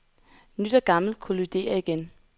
Nyt og gammelt kolliderer igen.